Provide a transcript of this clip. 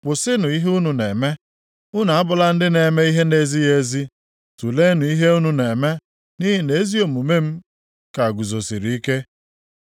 Kwụsịnụ ihe unu na-eme. Unu abụla ndị na-eme ihe na-ezighị ezi, tuleenụ ihe unu na-eme, nʼihi na ezi omume m ka guzosiri ike.